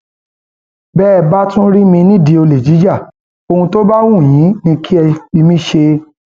bẹẹ bá tún rí mi nídìí olè jíja ohun tó bá wù yín ni kẹ ẹ fi mí ṣe